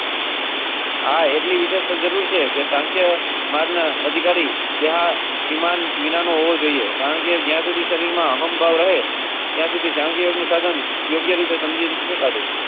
હા એટલે વિશેષ જરૂર છે કે. પરના અધિકારી. વિમાન વિનાનોવો જોઈએ, કારણ કે જ્યાં સુધી શરીરમાં હમ ભાવ રહે. ત્યાં સુધી સાંખી યોગનું સાધન યોગ્ય રીતે સમજી.